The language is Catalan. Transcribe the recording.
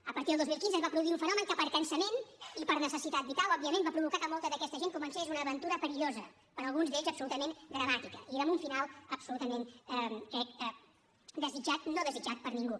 a partir del dos mil quinze es va produir un fenomen que per cansament i per necessitat vital òbviament va provocar que molta d’aquesta gent comencés una aventura perillosa per a alguns d’ells absolutament dramàtica i amb un final absolutament crec no desitjat per ningú